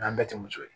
N'an bɛɛ tɛ muso ye